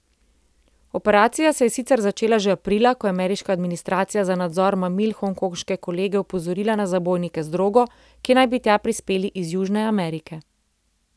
Operacija se je sicer začela že aprila, ko je ameriška administracija za nadzor mamil hongkonške kolege opozorila na zabojnike z drogo, ki naj bi tja prispeli iz Južne Amerike.